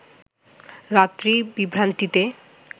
রাত্রির বিভ্রান্তিতে